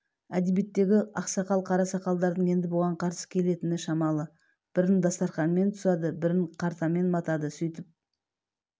әдебиеттегі ақсақал-қара сақалдардың енді бұған қарсы келетін шамалы бірін дастарханмен тұсады бірін картамен матады сөйтіп